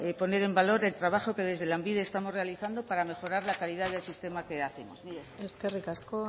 poner en valor el trabajo que desde lanbide estamos realizando para mejorar la calidad del sistema que hacemos mila esker eskerrik asko